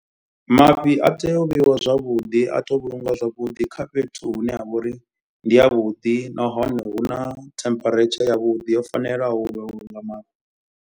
Mafhi a tea u vheiwa zwavhuḓi a to vhulunga zwavhuḓi. Kha fhethu hune ha vha uri ndi ya vhuḓi nahone hu na temperature ya vhuḓi yo fanelaho u vhulunga mafhi.